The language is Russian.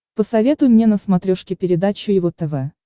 посоветуй мне на смотрешке передачу его тв